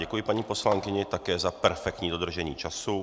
Děkuji paní poslankyni také za perfektní dodržení času.